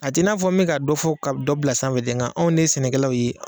A t'i na fɔ me ka dɔ fɔ ka dɔ bila sanfɛ dɛ ŋa anw de ye sɛnɛkɛlaw ye